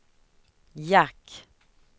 jack